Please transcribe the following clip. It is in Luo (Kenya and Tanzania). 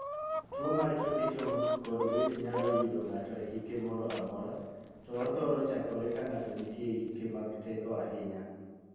Tuo mar choke chong kod bede nyalo yudo ng'ato e hike moro amora, to othoro chakore ka ng'ato nitie e hike mag teko ahinya.